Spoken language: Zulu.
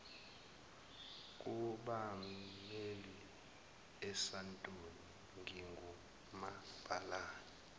kubammeli esandton ngingumabhalane